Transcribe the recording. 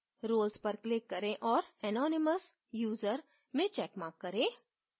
roles पर click करें और anonymous user में checkmark करें